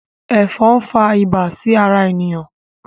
Efòn n fà ibà sí ará eniyan